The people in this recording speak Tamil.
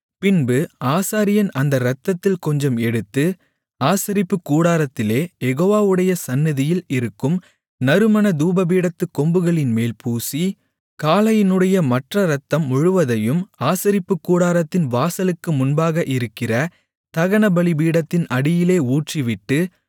பின்பு ஆசாரியன் அந்த இரத்தத்தில் கொஞ்சம் எடுத்து ஆசரிப்புக்கூடாரத்திலே யெகோவாவுடைய சந்நிதியில் இருக்கும் நறுமண தூபபீடத்துக் கொம்புகளின்மேல் பூசி காளையினுடைய மற்ற இரத்தம் முழுவதையும் ஆசரிப்புக்கூடாரத்தின் வாசலுக்கு முன்பாக இருக்கிற தகனபலிபீடத்தின் அடியிலே ஊற்றிவிட்டு